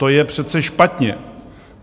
To je přece špatně.